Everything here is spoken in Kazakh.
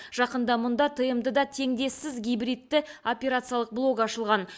жақында мұнда тмд да теңдессіз гибридті операциялық блог ашылған